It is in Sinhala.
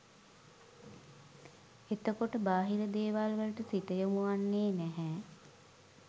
එතකොට බාහිර දේවල් වලට සිත යොමුවෙන්නෙ නැහැ